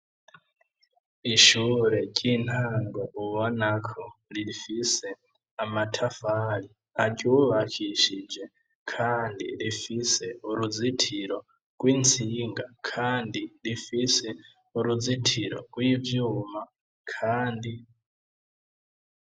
Ishure ry'intango ubonako rifise amatafari aryubakishije kandi rifise uruzitiro rw'intsinga kandi rifise uruzitiro rw'ivyuma kandi..